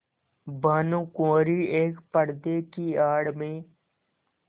भानुकुँवरि एक पर्दे की आड़ में